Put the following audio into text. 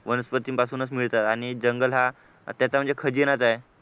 वनस्पतींपासून मिळत आणि जंगल हा त्याचा म्हणजे खजिनाच आहे